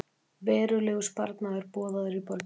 Verulegur sparnaður boðaður í borginni